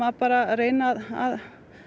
bara að reyna að